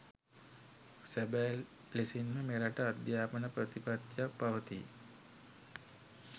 සැබෑ ලෙසින්ම මෙරට අධ්‍යාපන ප්‍රතිපත්තියක් පවතී.